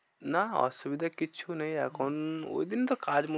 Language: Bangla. নাহ অসুবিধা কিচ্ছু নেই। এখন ঐদিন তো কাজ